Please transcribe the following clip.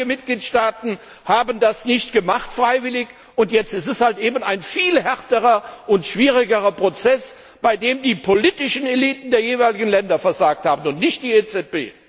Und einige Mitgliedstaaten haben das freiwillig nicht gemacht, und jetzt ist es halt eben ein viel härterer und schwierigerer Prozess, bei dem die politischen Eliten der jeweiligen Länder versagt haben und nicht die EZB.